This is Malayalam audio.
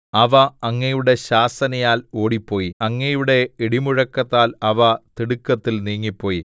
അവ അങ്ങയുടെ ശാസനയാൽ ഓടിപ്പോയി അങ്ങയുടെ ഇടിമുഴക്കത്താൽ അവ തിടുക്കത്തിൽ നീങ്ങിപ്പോയി